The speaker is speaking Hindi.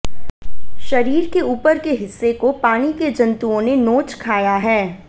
शरीर के ऊपर के हिस्से को पानी के जंतुओ ने नोंच खाया है